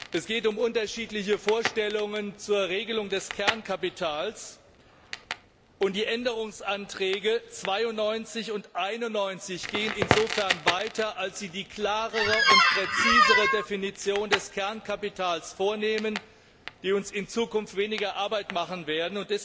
Es geht um unterschiedliche Vorstellungen zur Regelung des Kernkapitals, und die Änderungsanträge 91 und 92 gehen insofern weiter, als sie eine klarere und präzisere Definition des Kernkapitals vornehmen, die uns in Zukunft weniger Arbeit machen wird.